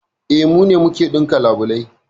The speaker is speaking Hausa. E, mu ne muke ɗinka labulai